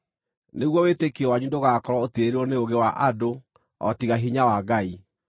nĩguo wĩtĩkio wanyu ndũgakorwo ũtiirĩrĩirwo nĩ ũũgĩ wa andũ, o tiga hinya wa Ngai.